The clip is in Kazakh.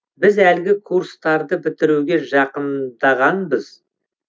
біз әлгі курстарды бітіруге жақындағанбыз